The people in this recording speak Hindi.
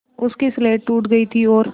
उसकी स्लेट टूट गई थी और